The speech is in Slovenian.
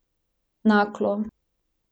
Naklo.